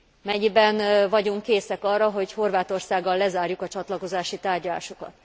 Mennyiben vagyunk készek arra, hogy Horvátországgal lezárjuk a csatlakozási tárgyalásokat?